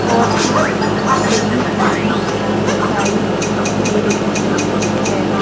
Scorpio लगी हुई दिखाई दे रही है.